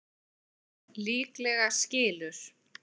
Líklega skilur